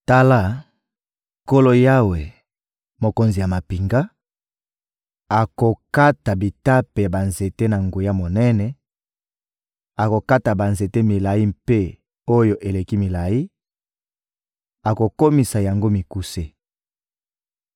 Tala, Nkolo Yawe, Mokonzi ya mampinga, akokata bitape ya banzete na nguya monene, akokata banzete milayi mpe oyo eleki milayi, akokomisa yango mikuse.